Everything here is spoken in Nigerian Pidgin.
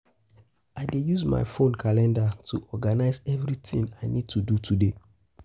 I dey use my phone calendar to organize everything I need to do today.